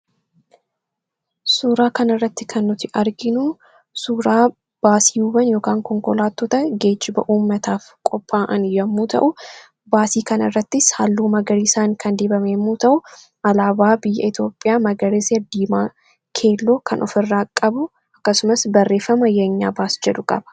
suuraa kan irratti kan nuti arginuu suuraa baasiiwwan ykn konkolaattoota geejjiba uummataaf qophaa'an yommuu ta'u baasii kan irrattis halluu magarii isaan kan dibame yemmuu ta'u alaabaa biyya etioophiyaa magariisa, diimaa ,keelloo kan of irraa qabu akkasumas barreeffama yeenyaa baas jedu qaba